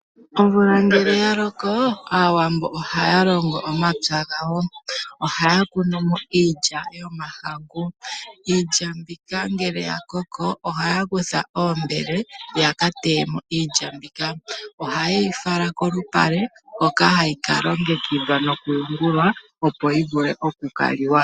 Omvula ngele yaloko, aawambo ohaya longo omapya gawo. Ohaya kunu mo iilya yomahangu. Iilya mbika ngele yakoko, ohaya kutha oombele, yaka teye mo iilya mbika. Ohayeyi fala kolupale hoka hayi ka longekidhwa nokuyungulwa, opo yivule oku liwa.